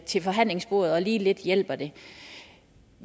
til forhandlingsbordet og lige lidt hjælper det